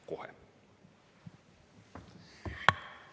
Kohe!